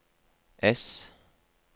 ess